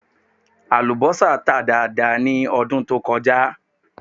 Àlùbọ́sà tà dáadáa ní ọdún tó kọjá